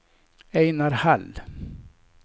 Ejnar Hall